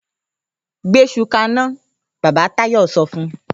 ‘Gbé is̩u ka iná!’ Bàbá Táyò̩ so̩ fun